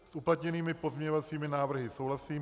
S uplatněnými pozměňovacími návrhy souhlasím.